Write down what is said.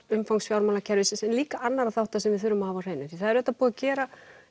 umfangs fjármálakerfisins en líka annarra þátta sem við þurfum að hafa á hreinu því það er auðvitað búið að gera